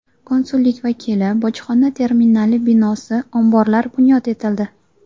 Konsullik vakili, bojxona terminali binosi, omborlar bunyod etildi.